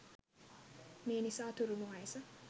මේ නිසා තුරුණු වයස